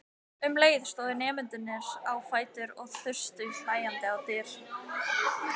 Um leið stóðu nemendurnir á fætur og þustu hlæjandi á dyr.